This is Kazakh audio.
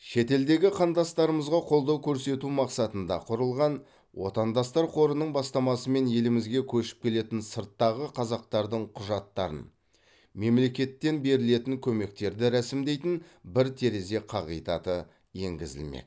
шетелдегі қандастарымызға қолдау көрсету мақсатында құрылған отандастар қорының бастамасымен елімізге көшіп келетін сырттағы қазақтардың құжаттарын мемлекеттен берілетін көмектерді рәсімдейтін бір терезе қағидаты енгізілмек